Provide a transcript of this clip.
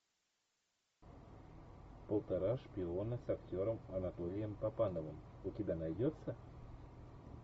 полтора шпиона с актером анатолием папановым у тебя найдется